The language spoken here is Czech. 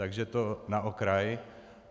Takže to na okraj.